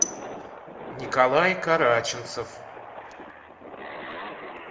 николай караченцов